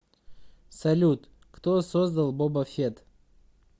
салют кто создал боба фетт